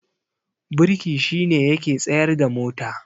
birki shi ne yake tsayarda mota